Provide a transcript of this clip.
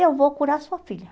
Eu vou curar a sua filha.